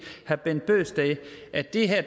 herre bent bøgsted at det her